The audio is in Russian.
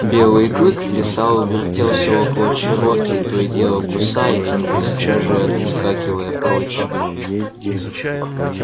белый клык плясал и вертелся около чероки то и дело кусая его и сейчас же отскакивая прочь